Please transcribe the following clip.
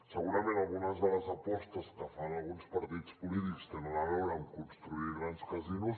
segurament algunes de les apostes que fan alguns partits polítics tenen a veure amb construir grans casinos